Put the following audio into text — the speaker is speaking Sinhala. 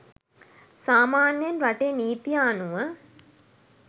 සාමාන්‍යයෙන් රටේ නීතිය අනුව